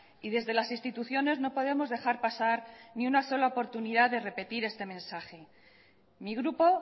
y desde las instituciones no podemos dejar pasar ni una sola oportunidad de repetir este mensaje mi grupo